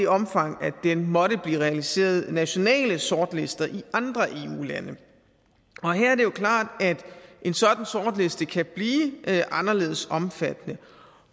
omfang den måtte blive realiseret til nationale sortlister i andre eu lande og her er det jo klart at en sådan sortliste kan blive anderledes omfattende